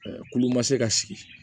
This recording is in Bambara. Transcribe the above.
Kulu ma se ka sigi